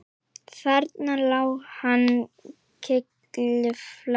Þarna lá hann kylliflatur